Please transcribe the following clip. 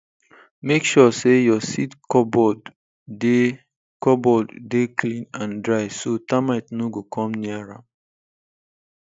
make sure say your seed cupboard dey cupboard dey clean and dry so termite no go come near am